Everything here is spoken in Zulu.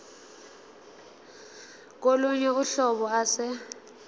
kolunye uhlobo ase